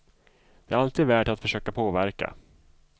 Det är alltid värt att försöka påverka.